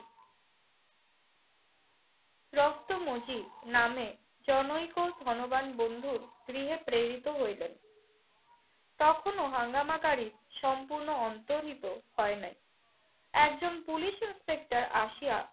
রক্তমজিদ নামে জনৈক ধনবান বন্ধুর গৃহে প্রেরিত হইলেন। তখনও হাঙ্গামাকারী সম্পূর্ণ অন্তর্হিত হয় নাই। একজন পুলিশ ইন্সপেক্টর আসিয়া